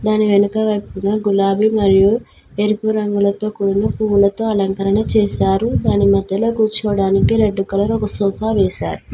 దాని వెనుక వైపున గులాబీ మరియు ఎరుపు రంగులతో కూడిన పువ్వులతో అలంకరణ చేశారు దాని మధ్యలో కూర్చోడానికి రెడ్డు కలర్ ఒక సోఫా వేశారు.